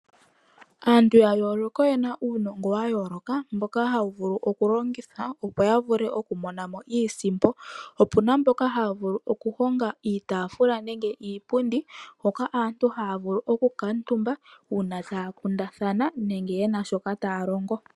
Aantu yayoloka oyena uunongo wa yooloka mboka hawu vulu oku longithwa opo ya vule oku monamo iisimpo. Opuna mboka haya vulu oku honga iitafula nenge iipundi hoka aantu haya vulu oku kamutumba una taya kundathana nenge yena shoka taya longo.